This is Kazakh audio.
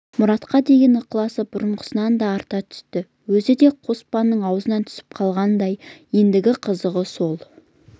мұратқа деген ықыласы бұрынғысынан да арта түсті өзі де қоспанның аузынан түсіп қалғандай ендігі қызығы сол